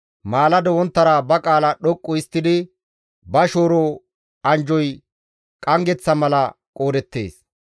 Maalado wonttara ba qaala dhoqqu histtidi ba shooro anjjoy qanggeththa mala qoodettees.